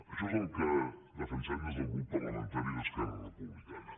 això és el que defensem des del grup parlamentari d’esquerra republicana